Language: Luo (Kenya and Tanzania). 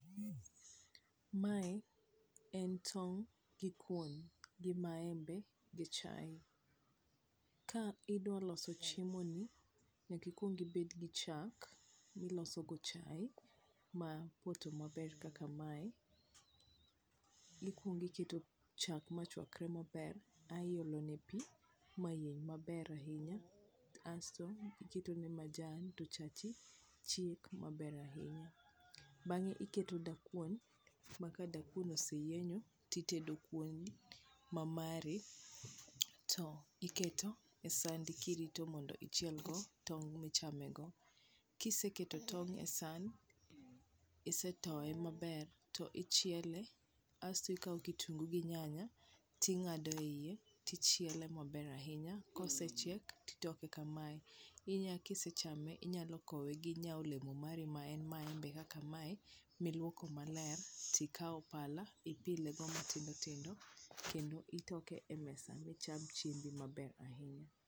mae en tong gi kuon gi maembe gi chae, ka idwa loso chiemo ni nyak aikuong ibed gi chak miloso go chai ma oppoto maber kaka mae, ikuong iketo chak ma chuakre maber ae iolo ne pi mayien maber ahinya asto iketo ne majan asto chachi chiek maber ahinya ,bang'e iketo dakuon maka dakuon oseyienyo tidedo kuon ma mari to iketo e sandi kirito mondo ichil go tong michame go ,kiseketo tond e san ,isetoye maber to ichiele ,kasto ikawo kitungu gi nyanya ti ng'ade iye kasto ichiele maber ahiny kosechiek ti toke kamae , kisechame inyalo kowe ginya ole mo mari ma en maembe kaka mae miluoko maler tikao pala ipile go matindo tindo kendo itoke e mesa mi cham chiembi maber ahinya.